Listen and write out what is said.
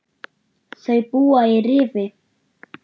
Þau búa í Rifi.